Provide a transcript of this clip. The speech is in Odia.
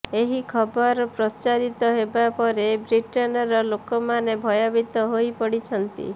ଏହି ଖବର ପ୍ରଚାରିତ ହେବା ପରେ ବ୍ରିଟେନର ଲୋକମାନେ ଭୟଭୀତ ହୋଇପଡିଛନ୍ତି